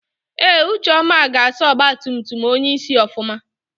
Ee ucheọma ga-asa ọgbatumtum onyeisi ofụma.